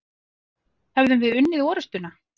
Hefðum við unnið orustuna?